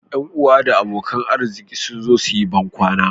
Yan uwa da abokan arziki sun zo su yi bankwana